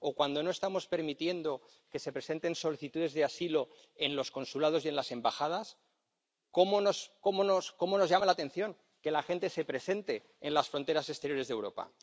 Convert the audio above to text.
O, cuando no estamos permitiendo que se presenten solicitudes de asilo en los consulados y en las embajadas, ¿cómo nos llama la atención que la gente se presente en las fronteras exteriores de Europa?